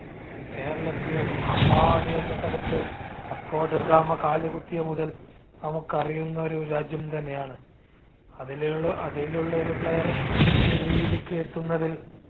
കേരളത്തിലെ കാപ്പാട് എന്ന സ്ഥലത്ത് വാസ്കോഡഗാമ കാലുകുത്തിയ മുതൽ നമ്മുക്കറിയുന്ന ഒരു രാജ്യം തന്നെയാണ് അതിനെയുള്ള അതിലുള്ള ഒരു player ഈ ഒരു രീതിക്ക് എത്തുന്നതിൽ